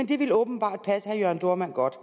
det ville åbenbart passe herre jørn dohrmann godt